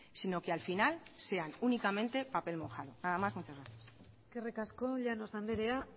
sino que al final sean únicamente papel mojado nada más muchas gracias eskerrik asko llanos anderea